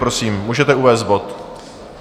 Prosím, můžete uvést bod.